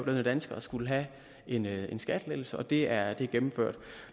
danskere skulle have en en skattelettelse og det er er gennemført